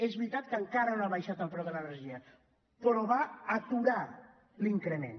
és veritat que encara no s’ha abaixat el preu de l’energia però va aturar l’increment